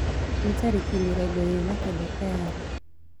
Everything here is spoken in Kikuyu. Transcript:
ni tarĩkĩ mĩrongoĩrĩ na kenda tayarĩ